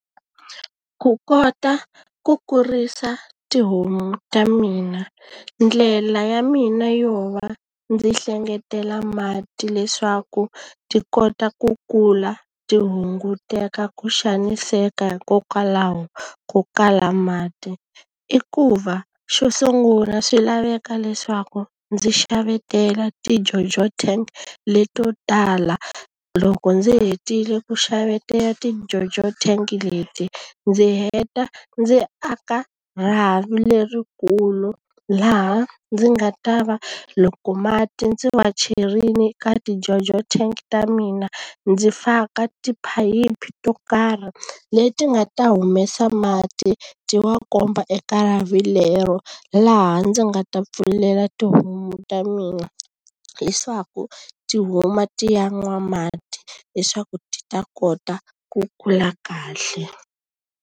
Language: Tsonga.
Ku kota ku kurisa tihomu ta mina, ndlela ya mina yo va ndzi hlengeletela mati leswaku ti kota ku kula ti hunguteka ku xaniseka hikokwalaho ko kala mati. I ku va xo sungula swi laveka leswaku ndzi xavetela ti-Jojo tank leto tala, loko ndzi hetile ku xavetela ti-Jojo tank leti, ndzi heta ndzi aka rhavi lerikulu laha ndzi nga ta va loko mati ndzi ma cherile ka ti-Jojo tank ta mina ndzi faka tiphayiphi to karhi. Leti nga ta humesa mati ti wa komba eka lero, laha ndzi nga ta pfulela tihomu ta mina leswaku ti huma ti ya nwa mati. leswaku ti ta kota ku kula kahle.